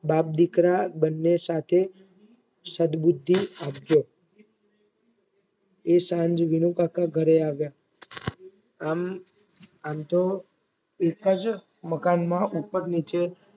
બાપદીકરા બંને સાથે સદબુદ્ધિ આપજો એ સાંજે વિનુ કાકા ઘરે આવ્યા. આમ આમ તો એક જ મકાનમાં ઉપર નીચે